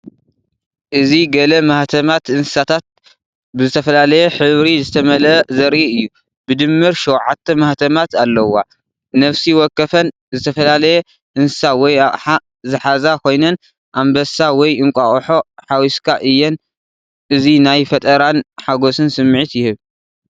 እዚ ገለ ማሕተማት እንስሳታት ብዝተፈላለየ ሕብሪ ዝተመልአ ዘርኢ እዩ። ብድምር ሸውዓተ ማሕተማት ኣለዋ። ነፍሲ ወከፈን ዝተፈላለየ እንስሳ ወይ ኣቕሓ ዝሓዛ ኮይነን ኣንበሳ ወይ እንቋቑሖ ሓዊስካ እየን። እዚ ናይ ፈጠራን ሓጎስን ስምዒት ይህብ።